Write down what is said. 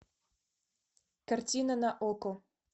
картина на окко